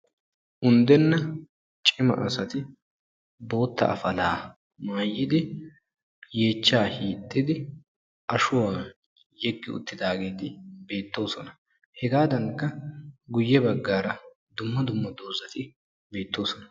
undena cimma assati bootta afalaa maaayidi yeechcha hiixidi ashshuwa yegi uttidagetti beetossona hegadankka dumma dumma dozzati beettosona.